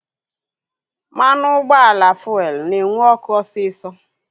Mmanụ ụgbọala fuelu na-enwu ọkụ osisọ